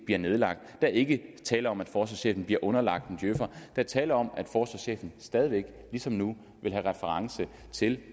bliver nedlagt der er ikke tale om at forsvarschefen bliver underlagt en djøfer er tale om at forsvarschefen stadig væk ligesom nu vil have reference til